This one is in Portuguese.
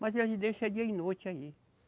Mas eles deixa dia e noite aí.